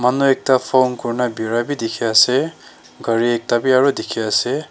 Manu ekta phone kurena berai bhi dekhe ase gari ekta bhi aro dekhe ase.